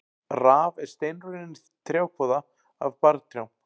Raf er steinrunnin trjákvoða af barrtrjám.